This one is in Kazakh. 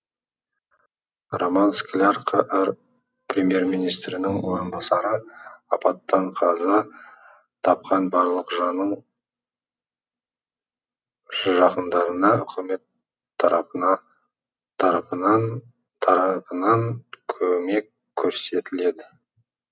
роман скляр қр премьер министрінің орынбасары апаттан қаза тапқан барлық жанның жақындарына үкімет тарапынан көмек көрсетіледі